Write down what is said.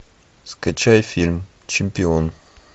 скачай фильм чемпион